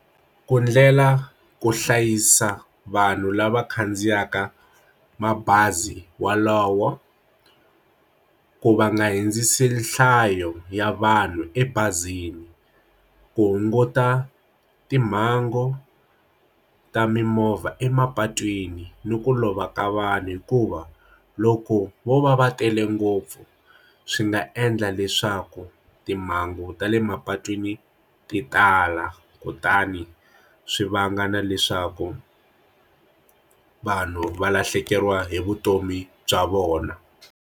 Ku ndlela ku hlayisa vanhu lava khandziyaka mabazi walowo ku va nga hundzisi nhlayo ya vanhu ebazini ku hunguta timhangu ta mimovha emapatwini ni ku lova ka vanhu hikuva loko vo va va tele ngopfu swi nga endla leswi swa ku timhangu ta le mapatwini ti tala kutani swi vanga na leswaku vanhu va lahlekeriwa hi vutomi bya vona.